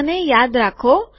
આને યાદ રાખો